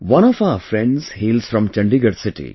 One of our friends hails from Chandigarh city